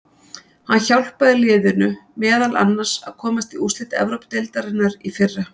Hann hjálpaði liðinu meðal annars að komast í úrslit Evrópudeildarinnar í fyrra.